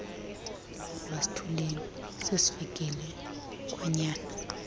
masithuleni sesifikile kwanyana